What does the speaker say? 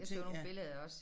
Jeg så nogle billeder også